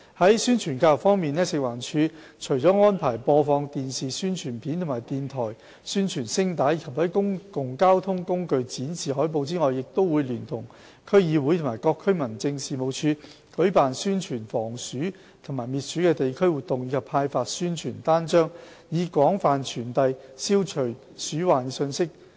在宣傳教育方面，食環署除安排播放電視宣傳片和電台宣傳聲帶，以及在公共交通工具展示海報外，亦會聯同區議會及各區民政事務處舉辦宣傳防鼠及滅鼠的地區活動，以及派發宣傳單張，以廣泛傳遞消除鼠患的信息。